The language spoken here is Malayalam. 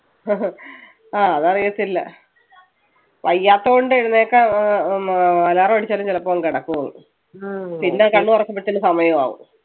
ആ അതറിയത്തില്ല വയ്യാത്തകൊണ്ട് എഴുന്നേൽക്കാൻ ആഹ് ഹും alarm അടിച്ചാലും ചിലപ്പോ അങ്ങ് കിടക്കും, പിന്നെ കണ്ണ് തുറക്കുമ്പഴത്തേനും സമയാവും.